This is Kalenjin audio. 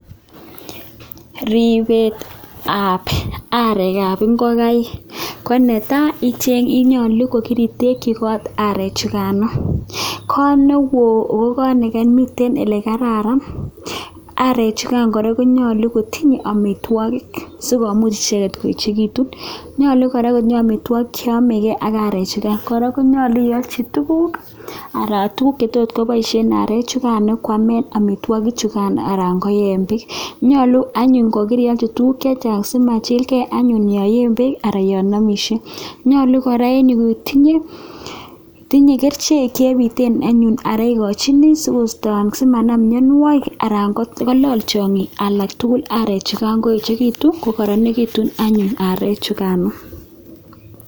Ripetab areekab ngokaik, ko netai konyolu ko kiritekchi kot arechukano, kot neo ak kot ole miten ole kararan, arek chukan kora konyolu kotinyei amitwokik sikomuch icheket koechekituun. Nyolu kora kotinye amitwokik che yomekei ak arechukan, kora konyolu ialchi tuguk anan tuguk che tot kopoishen arek chukan kwaamen amitwokik chukan anan koiye beek. Nyolun anyuun kokirialchi tuguk chechang simachilkei anyun yon ye beek anan yon amishen, nyolun kora itinyei kerichek chepiten anyun anan ikochini sikoisto anan simanam mianwokik anan kolany tiongik tugul arek chukan sikoechekitu ko kararanikitun anyun arek chukano.